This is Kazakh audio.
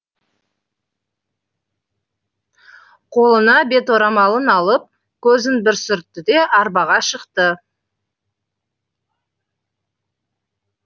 қолына беторамалын алып көзін бір сүртті де арбаға шықты